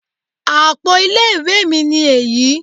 Àpo ilé ìwé mi ni èyí